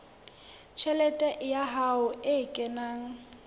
tjhelete ya hae e kenang